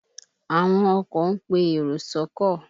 Àwọn oko ń pe èrò sọ́kọ̀